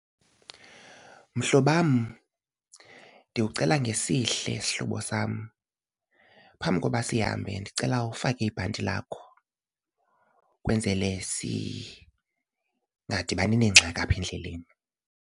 Mhlobam, ndikucela ngesihle sihlobo sam phambi koba sihambe ndicela ufake ibhanti lakho ukwenzele singadibani neengxaki apha endleleni.